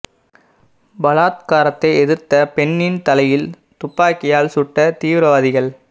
பலாத்காரத்தை எதிர்த்த பெண்ணின் தலையில் துப்பாக்கியால் சுட்ட தீவிரவாதிகள்